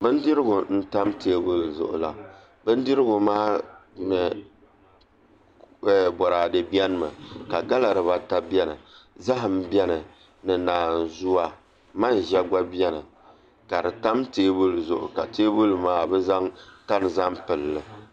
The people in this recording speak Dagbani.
Bindirigu n tam teebuli zuɣu la bindirigu ma boraadɛ bɛni ka gala dibata bɛni zaham bɛni ni naanzuwa manʒa gba bɛni ka di tam teebuli zuɣu ka teebuli maa bi zaŋ tani zaŋ pilli